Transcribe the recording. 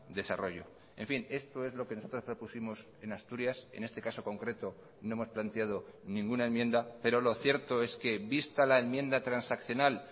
desarrollo en fin esto es lo que nosotros propusimos en asturias en este caso concreto no hemos planteado ninguna enmienda pero lo cierto es que vista la enmienda transaccional